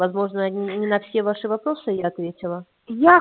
возможно не на все ваши вопросы я ответила я